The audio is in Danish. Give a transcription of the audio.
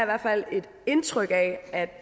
hvert fald et indtryk af at